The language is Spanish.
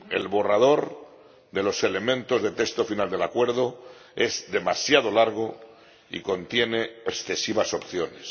El borrador de los elementos de texto final del acuerdo es demasiado largo y contiene excesivas opciones.